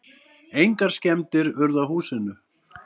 Engar skemmdir urðu á húsinu.